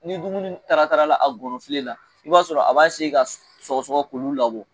Ni dumuni taratarala a gɔnɔfile la i b'a sɔrɔ a b'a ka sɔgɔsɔgɔ k'olu labɔ